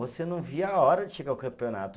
Você não via a hora de chegar o campeonato.